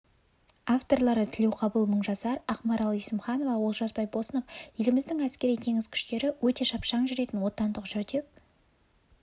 авторлары тілеуқабыл мыңжасар ақмарал есімханова олжас байбосынов еліміздің әскери теңіз күштері өте шапшаң жүретін отандық жүрдек